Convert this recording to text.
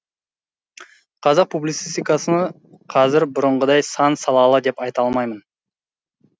қазақ публицистикасы қазір бұрынғыдай сан салалы деп айта алмаймын